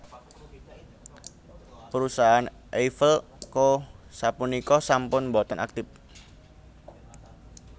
Perusahaan Eiffel Co sapunika sampun boten aktif